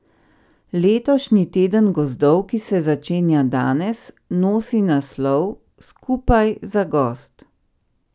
Letošnji teden gozdov, ki se začenja danes, nosi naslov Skupaj za gozd.